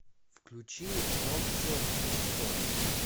включи нохчо ву со